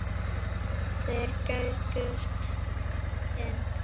Þeir gægðust inn.